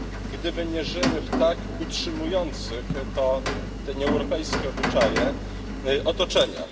gdyby nie żyły w tak utrzymujących te nieeuropejskie obyczaje otoczeniach.